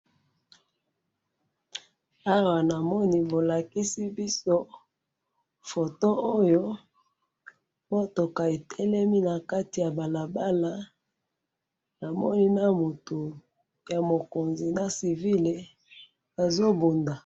awa na moni bo lakisi biso photo oyo mutuka etelemi na kati ya balabala na moni na mutu ya mokonzi na civile bazo mbonda